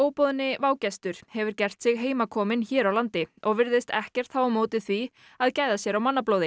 óboðni vágestur hefur gert sig heimakominn hér á landi og virðist ekkert hafa á móti því að gæða sér á